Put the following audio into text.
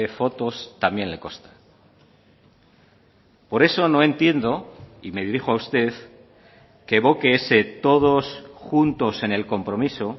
fotos también le consta por eso no entiendo y me dirijo a usted que evoque ese todos juntos en el compromiso